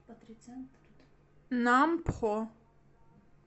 нампхо